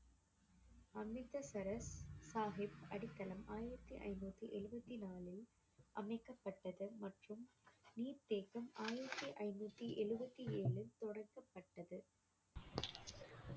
அமிர்தசரஸ் சாஹிப் அடித்தளம் ஆயிரத்தி ஐநூத்தி எழுபத்தி நாலில் அமைக்கப்பட்டது மற்றும் நீர்த்தேக்கம் ஆயிரத்தி ஐநூத்தி எழுபத்தி ஏழில்